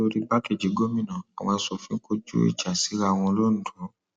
nítorí igbákejì gómìnà àwọn asòfin kọjú ìjà síra wọn londo